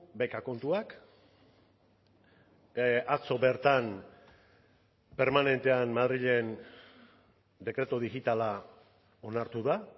beka kontuak atzo bertan permanentean madrilen dekretu digitala onartu da